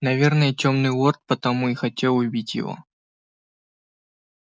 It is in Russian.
наверное тёмный лорд потому и хотел его убить